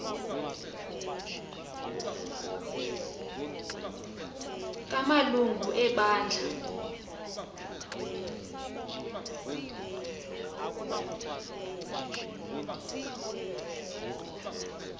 kama lungu ebandla